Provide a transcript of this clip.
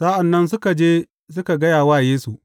Sa’an nan suka je suka gaya wa Yesu.